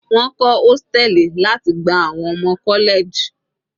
Wọ́n kọ́ hóstẹ̀lì láti gba àwọn ọmọ college.